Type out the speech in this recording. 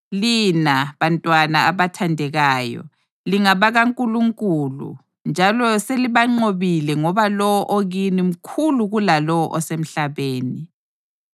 Lina, bantwana abathandekayo, lingabakaNkulunkulu njalo selibanqobile ngoba lowo okini mkhulu kulalowo osemhlabeni.